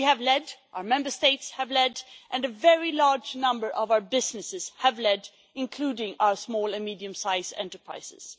We have led, our Member States have led and a very large number of our businesses have led, including our small and medium sized enterprises.